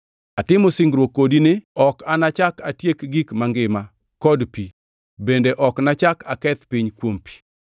Atimo singruok kodi ni: Ok nachak atiek gik mangima kod pi bende ok nachak aketh piny kuom pi.”